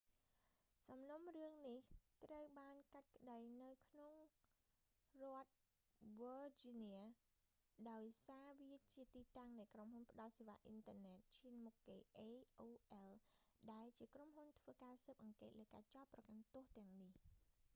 សំណុំរឿងនេះ ត្រូវបានកាត់ក្ដីនៅក្នុងរដ្ឋ វើជីញៀ virginia ដោយសារវាជាទីតាំងនៃក្រុមហ៊ុនផ្ដល់សេវាអ៊ីនធឺណិតឈានមុខគេ aol ដែលជាក្រុមហ៊ុនធ្វើការស៊ើបអង្កេតលើការចោទប្រកាន់ទោសទាំងនេះ